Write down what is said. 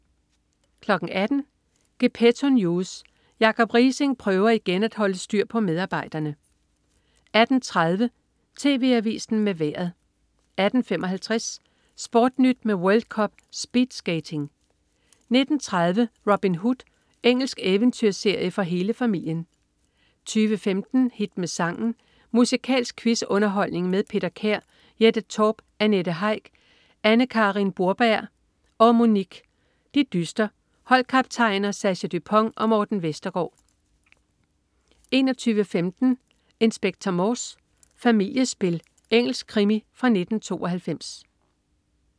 18.00 Gepetto News. Jacob Riising prøver igen at holde styr på medarbejderne 18.30 TV Avisen med Vejret 18.55 SportNyt med World Cup-speedskating 19.30 Robin Hood. Engelsk eventyrserie for hele familien 20.15 Hit med sangen. Musikalsk quiz-underholdning med Peter Kær. Jette Torp, Annette Heick, Anne Karin Broberg og Monique dyster. Holdkaptajner: Sascha Dupont og Morten Vestergaard 21.15 Inspector Morse: Familiespil. Engelsk krimi fra 1992